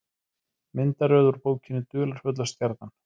Myndaröð úr bókinni Dularfulla stjarnan.